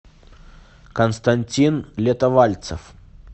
константин летовальцев